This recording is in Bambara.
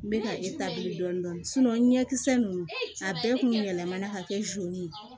N bɛ ka dɔɔnin dɔɔnin ɲɛkisɛ ninnu a bɛɛ kun bɛ yɛlɛmana ka kɛ ye